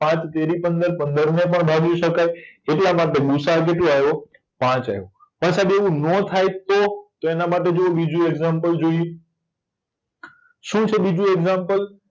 પાંચ તેરી પંદર પંદરને પણ ભાગી શકાય એટલામાટે ગુસાઅ કેટલો આવ્યો પાંચ આયવો પણ સાઈબ એવું નો થાય તો તો એના માટે જો બીજું એક્ષામ્પલ જોયે શું છે બીજું એક્ષામ્પલ